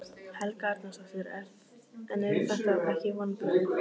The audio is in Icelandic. Helga Arnardóttir: En eru þetta ekki vonbrigði?